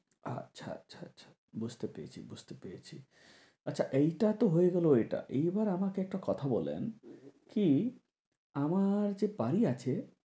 আচ্ছা আচ্ছা আচ্ছা বুঝতে পেরেছি বুঝতে পেরেছি। আচ্ছা এইটা তো হয়ে গেলো এইটা, এইবার আমাকে একটা কথা বলেন কি আমার যে বাড়ি আছে